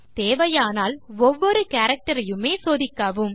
தேவையானால் ஒவ்வொரு கேரக்டர் யுமே சோதிக்கவும்